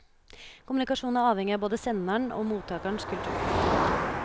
Kommunikasjon er avhengig av både senderens og mottakerens kultur.